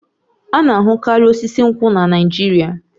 A na-ahụkarị osisi nkwụ na Naịjirịa